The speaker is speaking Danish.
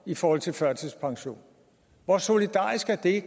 i forhold til førtidspension hvor solidarisk er det